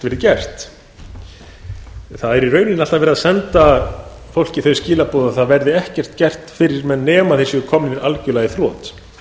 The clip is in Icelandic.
verið gert það er alltaf verið að senda fólki þau skilaboð að það verði ekkert gert fyrir menn nema þeir séu komnir algjörlega í þrot